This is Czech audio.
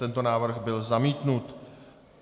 Tento návrh byl zamítnut.